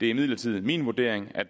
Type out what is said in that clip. det er imidlertid min vurdering at